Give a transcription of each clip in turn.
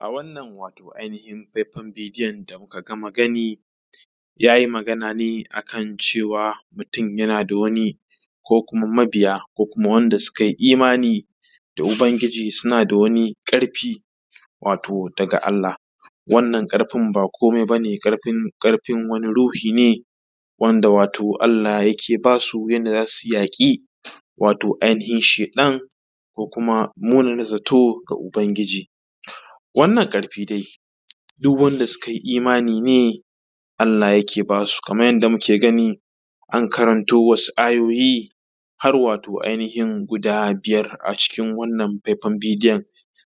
A wannan wato ainihin faifan bidiyon da muka gama gani yayin da muka yi bayani a kan mutum, yana da wani ko kuma mabiya ko kuma waɗanda suka yi imani da ubangiji suna da wani ƙarfi wato da ga Allah, wannan ƙarfin ba komai ba ne ƙarfin wani ruhi ne wanda wato Allah yake ba su yanda za su yi yaƙi, wato ainihin sheɗan ko kuma munana zato da ubangiji. Wannan ƙarfi dai su gne wanda sun ka yi imani Allah yake ba su kamar yadda muke gani an karanto wasu ayoyi har wato ainihin guda biyar a cikin wannan faifan bidiyon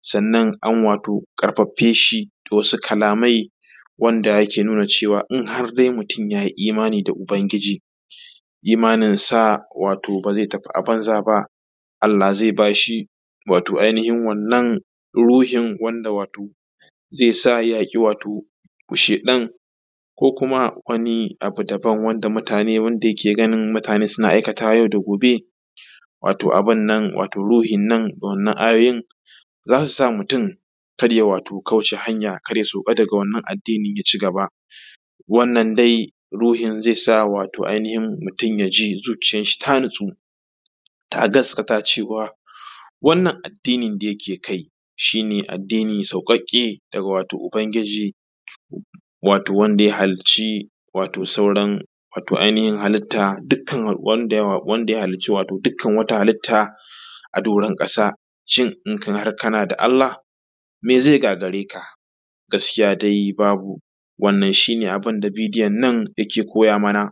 sannan an wato ƙarfafe shi da wasu kalamai wanda ke nuna cewa har dai mutum ya yi imani da ubangiji, imanin sa wato ba ze tafi a banza ba, Allah ze ba shi ainihin wato wannan ruhin wanda wato ze sa ya yi wato wa sheɗan ko kuma wani abu daban wanda mutane yake ganin mutane suna aikata wa yau da gobe. Wato abun nan wato ruhin nan wannan a yayin za su sa mutum kar ya wato kauce hanya, kar ya sauka wato daga wannan addinin ya cigaba wannan dai ruhin ze sa dai wato ainihin mutum ya ji zuciyan shi ta natsu ta gastaka cewa wannan addinin da yake kai shi ne addini me sauƙi daga wato ubangiji wato wanda ya hallici wato sauran al’umma dukkan al’ummomi da yawa wanda wato ya hallici halitta a doron ƙasa. Shin har in kana da Allah me ze gagare ka, gaskiya dai babu wannan shi ne abun da bidiyon nan yake nuna mana.